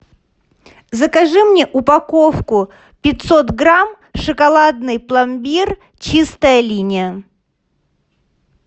закажи мне упаковку пятьсот грамм шоколадный пломбир чистая линия